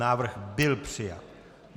Návrh byl přijat.